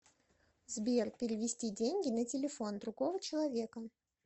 сбер перевести деньги на телефон другого человека